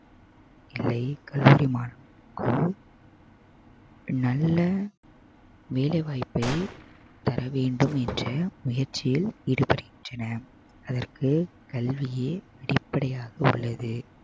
கல்லூரி மாணவர்களுக்கும் நல்ல வேலை வாய்ப்பை தர வேண்டும் என்ற முயற்சியில் ஈடுபடுகின்றன அதற்கு கல்வியே அடிப்படையாக உள்ளது